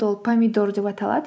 ол помидор деп аталады